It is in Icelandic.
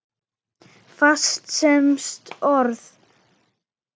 Fast samsett orð